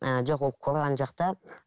ы жоқ ол корған жақта